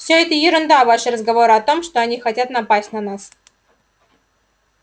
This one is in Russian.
всё это ерунда ваши разговоры о том что они хотят напасть на нас